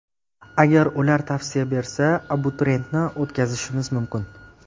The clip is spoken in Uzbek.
Agar ular tavsiya bersa, abituriyentni o‘tkazishimiz mumkin.